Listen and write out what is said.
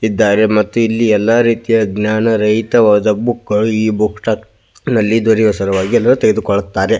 ಇದ್ದಾರೆ ಮತ್ತು ಇಲ್ಲಿ ಏಲ್ಲಾ ರೀತಿಯ ಜ್ಞಾನ ರೈತವಾದ ಬುಕ್ಗಳು ಈಬುಕ್ ಸ್ಟಾಕ್ ನಲ್ಲಿ ದೊರೆಯುವ ಸಲುವಾಗಿ ಎಲ್ಲ ತೆಗೆದುಕೊಳ್ಳುತ್ತಾರೆ.